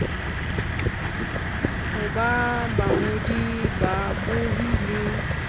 ho ba bangodi babohi le